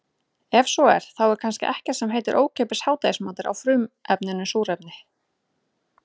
Ef svo er þá er kannski ekkert sem heitir ókeypis hádegismatur á frumefninu súrefni.